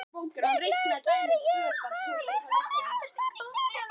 Líklega geri ég það vegna ástar á sjálfum mér.